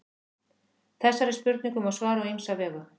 Þessari spurningu má svara á ýmsa vegu.